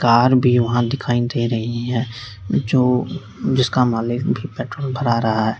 Car भी वहां दिखाई दे रही है जो जिसका मालिक भी पेट्रोल भरा रहा है।